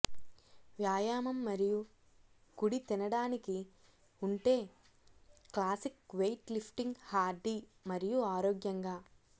వ్యాయామం మరియు కుడి తినడానికి ఉంటే క్లాసిక్ వెయిట్ లిఫ్టింగ్ హార్డీ మరియు ఆరోగ్యంగా